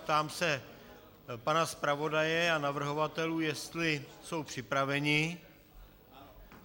Ptám se pana zpravodaje a navrhovatelů, jestli jsou připraveni.